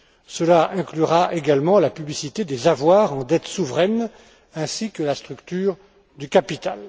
Cela inclura également la publicité des avoirs en dette souveraine ainsi que la structure du capital.